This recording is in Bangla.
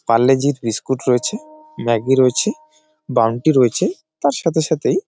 পার্লে জি -র বিস্কুট রয়েছে ম্যাগি রয়েছে বাউনটি রয়েছে তার সাথে সাথেই--